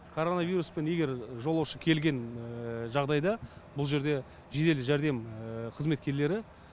коронавируспен егер жолаушы келген жағдайда бұл жерде жедел жәрдем қызметкерлері